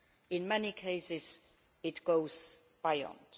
In many cases it goes beyond.